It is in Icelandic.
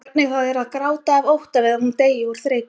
Hvernig það er að gráta af ótta við að hún deyi úr þreytu.